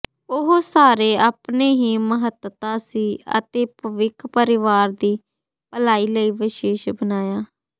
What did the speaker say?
ਉਹ ਸਾਰੇ ਆਪਣੇ ਹੀ ਮਹੱਤਤਾ ਸੀ ਅਤੇ ਭਵਿੱਖ ਪਰਿਵਾਰ ਦੀ ਭਲਾਈ ਲਈ ਵਿਸ਼ੇਸ਼ ਬਣਾਇਆ